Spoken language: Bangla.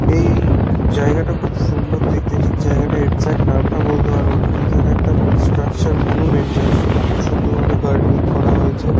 এই-ই জায়গাটা খুব সুন্দর দেখতে ঠিক জায়গাটার এক্সাট নামটা বলতে পারব না কিন্তু এটা একটা স্ট্রাকচার মনুমেন্ট যার সঙ্গে খুব সুন্দর ভাবে গার্ডেনিং করা হয়েছে।